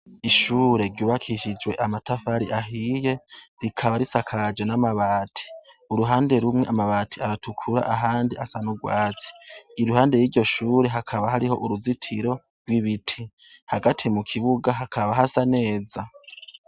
Ishure ryubakishijwe amatafari ahiye rikaba rishakajwe n'amabati. Uruhande rumwe amabati aratukura urundi asa n'ubwatsi. Iruhande y'iryo shure hakaba hariho uruzitiro rw'ibiti. Hagati mu kibuga hakaba hasa neza.